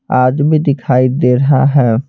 आदमी दिखाई दे रहा है।